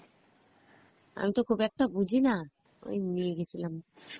আমি তো খুব একটা বুঝিনা, ওই নিয়ে গেছিলাম